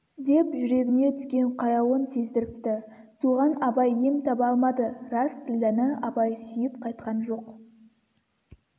деп жүрегіне түскен қаяуын сездіріпті соған абай ем таба алмады рас ділдәні абай сүйіп қайтқан жоқ